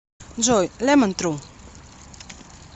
джой лемон тру